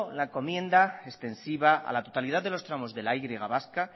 la encomienda extensiva a la totalidad de los tramos de la y vasca